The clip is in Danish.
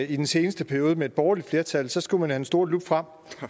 i den seneste periode med et borgerligt flertal så skulle man have den store lup frem